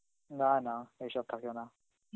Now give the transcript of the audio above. না না ওইসব থাকে না